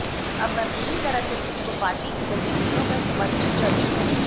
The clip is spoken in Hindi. अब मैं पूरी तरह से खुद को पार्टी की गतिविधियों में समर्पित करूंगा